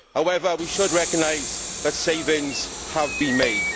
However, we should recognise that savings have been made.